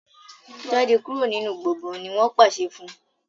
jáde kúrò nínú gboôgan! ní wón pàṣẹ fún.